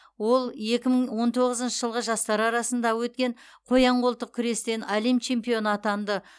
ол екі мың он тоғызыншы жылғы жастар арасында өткен қоян қолтық күрестен әлем чемпионы атанды